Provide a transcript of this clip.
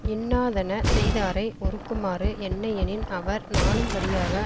இன்னாதன செய்தாரை ஒறுக்குமாறு என்னையெனின் அவர் நாணும்படியாக